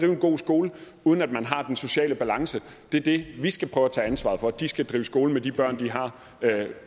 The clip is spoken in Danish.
en god skole uden man har den sociale balance det er det vi skal prøve at tage ansvar for de skal drive skolen med de børn de har